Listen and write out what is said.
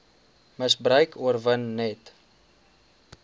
misbruik oorwin net